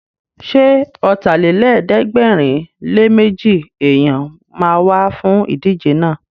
Ṣé Ọ̀tàlélẹ̀ẹ́dẹ́gbẹ̀rinléméjì èèyàn ma wá fún ìdíje náà?